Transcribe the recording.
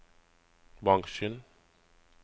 bransjen